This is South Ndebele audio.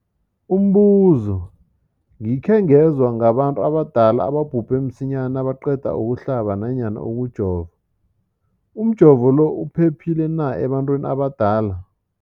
Umbuzo, gikhe ngezwa ngabantu abadala ababhubhe msinyana nabaqeda ukuhlaba namkha ukujova. Umjovo lo uphephile na ebantwini abadala?